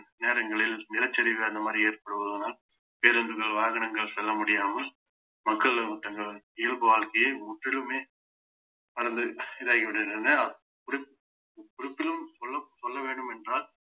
நேரங்களில் நிலச்சரிவு அந்த மாதிரி ஏற்படுவதனால் பேருந்துகள் வாகனங்கள் செல்ல முடியாமல் மக்களும் தங்களது இயல்பு வாழ்க்கையை முற்றிலுமே மறந்து இதாகி விடுகின்றனர் குறி~ முற்றிலும் சொல~ சொல்ல வேண்டும் என்றால்